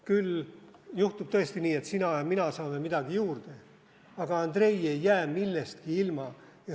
Küll juhtub tõesti nii, et sina ja mina saame midagi juurde, aga Andrei ei jää millestki ilma.